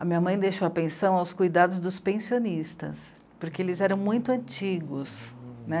A minha mãe deixou a pensão aos cuidados dos pensionistas, porque eles eram muito antigos, né.